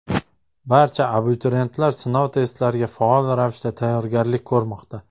Barcha abituriyentlar sinov testlariga faol ravishda tayyorgarlik ko‘rmoqda.